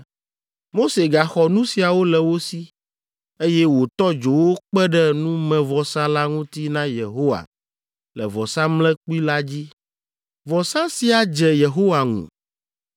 Mose gaxɔ nu siawo le wo si, eye wòtɔ dzo wo kpe ɖe numevɔsa la ŋuti na Yehowa le vɔsamlekpui la dzi. Vɔsa sia dze Yehowa ŋu.